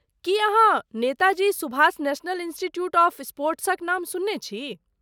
की अहाँ Netaji Subhash national institute of स्पोर्ट्सक नाम सुनने छी?